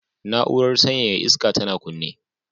Na'urar sanyaya iska tana kunne